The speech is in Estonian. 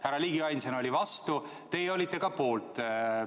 Härra Ligi ainsana oli vastu, teie olite poolt.